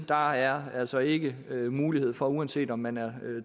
der er altså ikke mulighed for uanset om man er